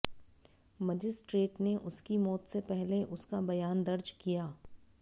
magistrate ने उसकी मौत से पहले उसका बयान दर्ज किया